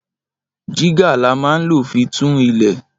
Jígà là mà ń ló fi tún ìlẹ